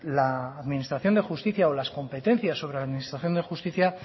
la administración de justicia o las competencias sobre la administración de justicia